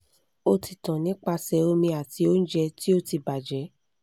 o ti tan nipasẹ omi ati ounje ti o ti baje